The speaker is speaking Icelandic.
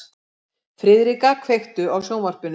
Friðrika, kveiktu á sjónvarpinu.